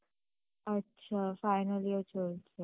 আচ্ছা, final year চলছে